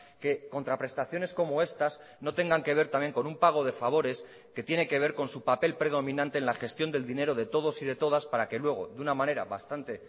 que contraprestaciones como estas no tengan que ver también con un pago de favores que tiene que ver con su papel predominante en la gestión del dinero de todos y de todas para que luego de una manera bastante